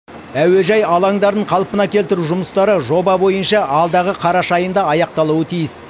әуежай алаңдарын қалпына келтіру жұмыстары жоба бойынша алдағы қараша айында аяқталуы тиіс